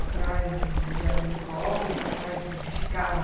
Atrás de habeas corpus, atrás de ficar lá.